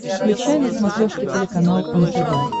включай на смотрешке телеканал нтв